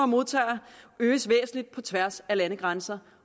modtager øges væsentlig på tværs af landegrænser